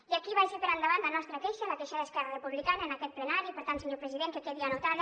i aquí vagi per endavant la nostra queixa la queixa d’esquerra republicana en aquest plenari per tant senyor president que quedi anotada